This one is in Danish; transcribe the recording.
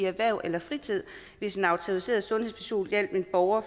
erhverv eller fritid hvis en autoriseret sundhedsperson hjalp en borger